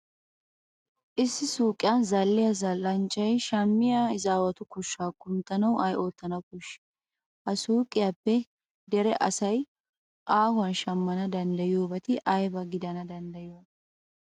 Issi suuqiyan zal"iya zal"anchchay shammiya izaawatu koshshaa kunttanawu ay oottana koshshii? Ha suuqiyappe dere asay aahuwan shammana danddayiyobati ayba gidana danddayiyoonaa